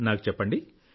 నాకు చెప్పండి